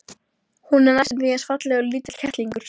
Von var á meiri mannfórnum en nokkurn hafði órað fyrir.